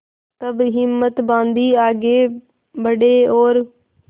तब हिम्मत बॉँधी आगे बड़े और